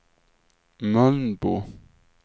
Mölnbo